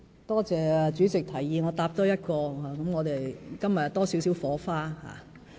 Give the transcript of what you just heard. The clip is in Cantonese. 多謝主席提議我多回答一項質詢，令我們今天又多了少許火花。